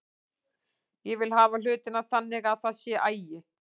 Ég vil hafa hlutina þannig að það sé agi.